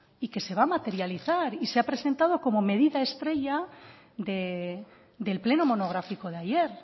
y que se va a materializar y se ha presentado como medida estrella del pleno monográfico de ayer